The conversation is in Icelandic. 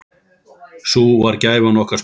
Sú var gæfan okkar Smára.